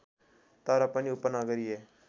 तर पनि उपनगरीय